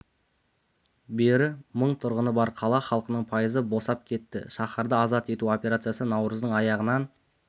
бері мың тұрғыны бар қала халқының пайызы босып кетті шаһарды азат ету операциясы наурыздың аяғынан